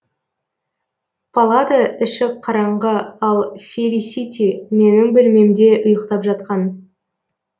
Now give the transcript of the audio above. палата іші қараңғы ал фелисити менің бөлмемде ұйықтап жатқан